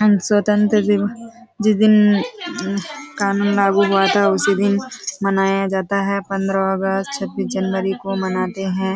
हम स्वतंत्र दिन जिस दिन अ कानून लागू हुआ था उसी दिन मनाया जाता हैं पंद्रह अगस्त छबीस जनवरी को मनाते हैं।